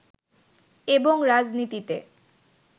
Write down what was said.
এবং রাজনীতিতে